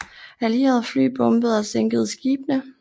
Allierede fly bombede og sænkede skibene